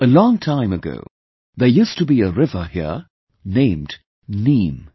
A long time ago, there used to be a river here named Neem